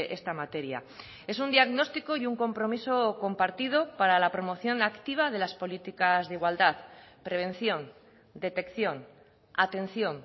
esta materia es un diagnóstico y un compromiso compartido para la promoción activa de las políticas de igualdad prevención detección atención